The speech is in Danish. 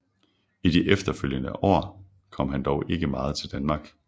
I de følgende år kom han dog ikke meget til Danmark